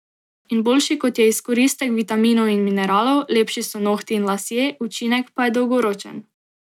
In boljši kot je izkoristek vitaminov in mineralov, lepši so nohti in lasje, učinek pa je dolgoročen.